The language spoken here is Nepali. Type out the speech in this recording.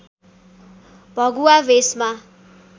भगुवा भेषमा